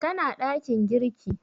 Tana ɗakin girki